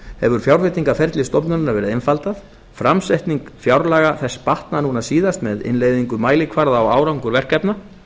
hefur fjárveitingarferli stofnunarinnar verið einfaldað framsetning fjárlaga þess batnað núna síðast með innleiðingu mælikvarða á árangur verkefna